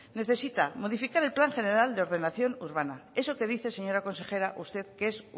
necesita modificar el plan general de ordenación urbana eso que dice señora consejera usted que es